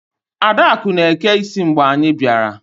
Adakụ na-eke isi mgbe anyị bịara.